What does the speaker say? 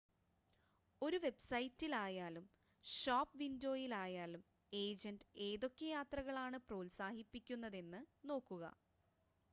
ഒരു വെബ്‌സൈറ്റിലായാലും ഷോപ്പ് വിൻഡോയിലായാലും ഏജൻ്റ് ഏതൊക്കെ യാത്രകളാണ് പ്രോത്സാഹിപ്പിക്കുന്നതെന്ന് നോക്കുക